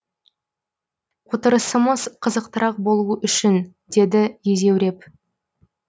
отырысымыз қызықтырақ болуы үшін деді езеуреп